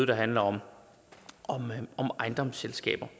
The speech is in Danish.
der handler om ejendomsselskaber